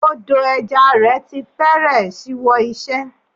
Odò ẹja rẹ̀ ti fẹ́rẹ̀ ṣíwọ́ iṣẹ́.